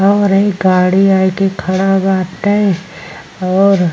और इ गाड़ी आए के खड़ा बाटे और --